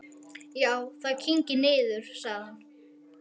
Já, það kyngir niður, sagði hann.